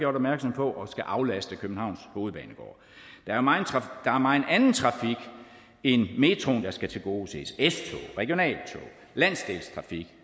opmærksom på og skal aflaste københavns hovedbanegård der er megen anden trafik end metroen der skal tilgodeses s tog regionaltog landsdelstrafik